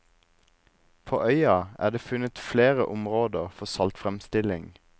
På øya er det funnet flere områder for saltfremstilling.